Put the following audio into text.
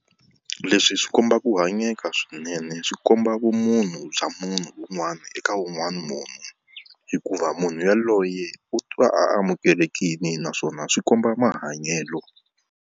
Leswi swi kombaka hanyeka swinene swi komba vumunhu bya munhu un'wana eka un'wana munhu, hikuva munhu yaloye u twa a amukelekile naswona swi komba mahanyelo.